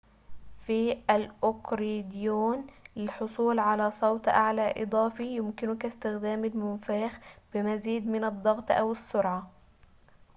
في الأكورديون للحصول على صوت أعلى إضافي يمكنك استخدام المنفاخ بمزيد من الضغط أو السرعة